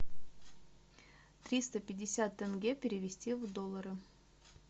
триста пятьдесят тенге перевести в доллары